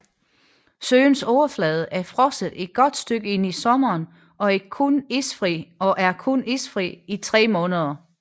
Søens overflade er frosset et godt stykke ind i sommeren og er kun isfri i tre måneder